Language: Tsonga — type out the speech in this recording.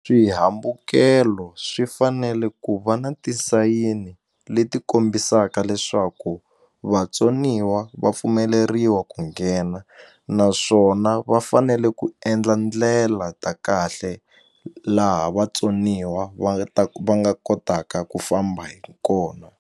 Swihambukelo swi fanele ku va na tisayini leti kombisaka leswaku vatsoniwa va pfumeleriwa ku nghena naswona va fanele ku endla ndlela ta kahle laha vatsoniwa va nga ta va nga kotaka ku famba hi kona.